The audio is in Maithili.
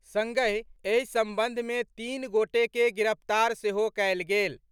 संगहि एहि संबंध मे तीन गोटे के गिरफ्तार सेहो कयल गेल।